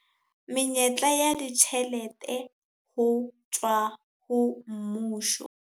Menyetla ya ditjhelete ho tswa ho mmuso.